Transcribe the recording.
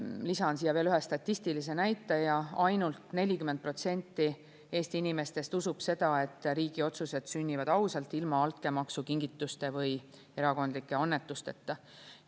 Lisan siia veel ühe statistilise näitaja: ainult 40% Eesti inimestest usub seda, et riigi otsused sünnivad ausalt, ilma altkäemaksu, kingituste või erakondlike annetusteta.